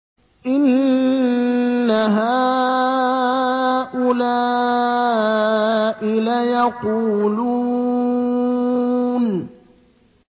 إِنَّ هَٰؤُلَاءِ لَيَقُولُونَ